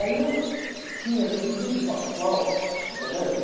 Aí eu tinha aquele trio do, do colégio.